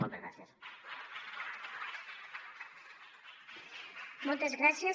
moltes gràcies